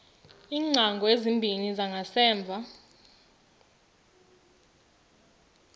iingcango ezimbini zangasemva